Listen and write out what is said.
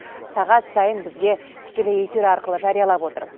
сағат сайын бізге тікелей эфир арқылы жариялап отыр